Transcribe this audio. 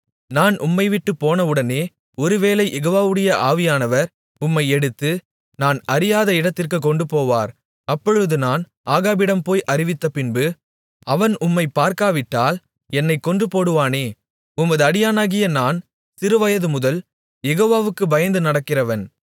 நான் உம்மை விட்டுப்போனவுடனே ஒருவேளை யெகோவாவுடைய ஆவியானவர் உம்மை எடுத்து நான் அறியாத இடத்திற்குக் கொண்டுபோவார் அப்பொழுது நான் ஆகாபிடம் போய் அறிவித்த பின்பு அவன் உம்மைக் பார்க்காவிட்டால் என்னைக் கொன்றுபோடுவானே உமது அடியானாகிய நான் சிறுவயது முதல் யெகோவாவுக்குப் பயந்து நடக்கிறவன்